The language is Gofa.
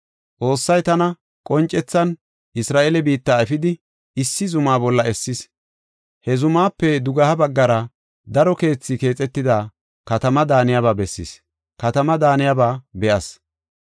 Xoossay tana qoncethan Isra7eele biitta efidi, issi zuma bolla essis. He zumaape dugeha baggara daro keethi keexetida katama daaniyaba be7as.